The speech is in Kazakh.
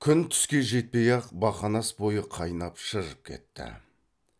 күн түске жетпей ақ бақанас бойы қайнап шыжып кетті